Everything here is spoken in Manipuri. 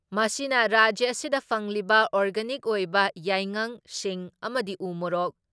ꯃꯁꯤꯅ ꯔꯥꯖ꯭ꯌ ꯑꯁꯤꯗ ꯐꯪꯂꯤꯕ ꯑꯣꯔꯒꯥꯅꯤꯛ ꯑꯣꯏꯕ ꯌꯥꯏꯉꯪ, ꯁꯤꯡ ꯑꯃꯗꯤ ꯎ ꯃꯣꯔꯣꯛ